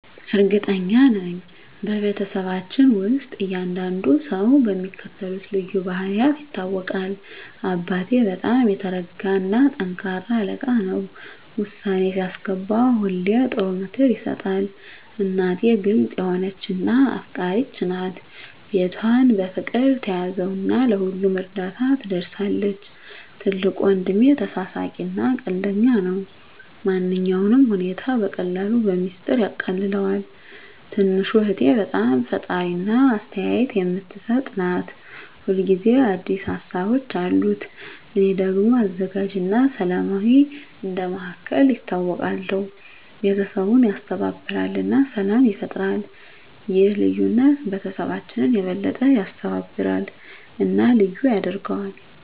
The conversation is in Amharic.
እርግጠኛ ነኝ፤ በቤተሰባችን ውስጥ እያንዳንዱ ሰው በሚከተሉት ልዩ ባህሪያት ይታወቃል - አባቴ በጣም የተረጋ እና ጠንካራ አለቃ ነው። ውሳኔ ሲያስገባ ሁሌ ጥሩ ምክር ይሰጣል። እናቴ ግልጽ የሆነች እና አፍቃሪች ናት። ቤቷን በፍቅር ትያዘው እና ለሁሉም እርዳታ ትደርሳለች። ትልቁ ወንድሜ ተሳሳቂ እና ቀልደኛ ነው። ማንኛውንም ሁኔታ በቀላሉ በሚስጥር ያቃልለዋል። ትንሹ እህቴ በጣም ፈጣሪ እና አስተያየት የምትሰጥ ናት። ሁል ጊዜ አዲስ ሀሳቦች አሉት። እኔ ደግሞ አዘጋጅ እና ሰላማዊ እንደ መሃከል ይታወቃለሁ። ቤተሰቡን ያስተባብራል እና ሰላም ይፈጥራል። ይህ ልዩነት ቤተሰባችንን የበለጠ ያስተባብራል እና ልዩ ያደርገዋል።